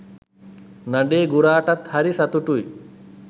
නඩේ ගුරාටත්හරි සතුටුයි.